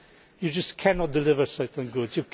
You just cannot deliver certain goods.